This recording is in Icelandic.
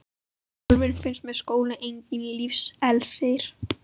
Sjálfri finnst mér skóli enginn lífsins elexír.